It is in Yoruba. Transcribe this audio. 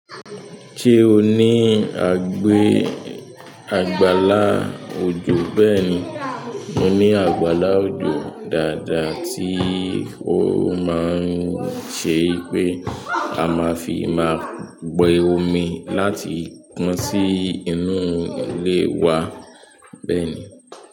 Ṣé o ní agbe, àgbàlá òjò bẹ́ẹ̀ni. Mo ní àgbàlá òjò dáadáa tí ó máa ń ṣe pé a máa fi máa gbé omi láti gún sí inú ilé wa bẹ́ẹ̀ni.